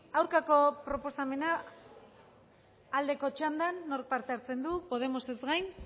aurkako proposamena aldeko txandan nork parte hartzen du podemosez gain